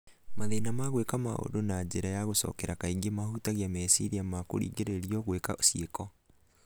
Mathĩna ma gwĩka maũndũ na njĩra ya gũcokera kaingĩ mahutagia meciria ma kũringĩrĩrio gwĩka cĩiko